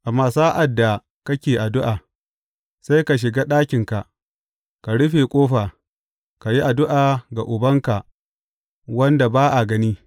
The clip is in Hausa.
Amma sa’ad da kake addu’a, sai ka shiga ɗakinka, ka rufe ƙofa, ka yi addu’a ga Ubanka wanda ba a gani.